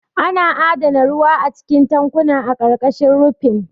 Ana adana ruwa a cikin tankuna a ƙarƙashin rufin.